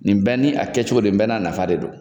Nin bɛɛ ni a kɛ cogo don ni bɛɛ na nafa de don